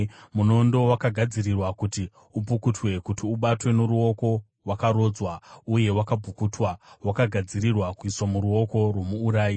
“ ‘Munondo wakagadzirirwa kuti upukutwe, kuti ubatwe noruoko; wakarodzwa uye wakapukutwa, wakagadzirirwa kuiswa muruoko rwomuurayi.